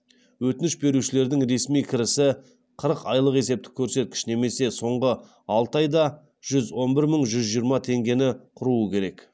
өтініш берушілердің ресми кірісі қырық айлық есептік көрсеткіш немесе соңғы алты айда жүз он бір мың жүз жиырма теңгені құрауы керек